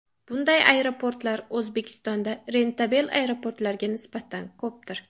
Bunday aeroportlar O‘zbekistonda rentabel aeroportlarga nisbatan ko‘pdir.